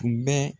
Tun bɛ